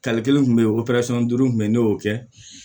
kelen kun be yen duuru kun be ye ne y'o kɛ